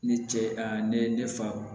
Ne ce a ne fa